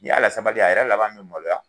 Ni y'a lasabali a yɛrɛ laban me maloya